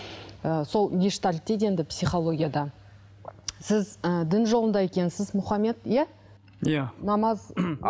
ы сол гештальд дейді енді психологияда сіз ыыы дін жолында екенсіз мұхаммед иә иә намаз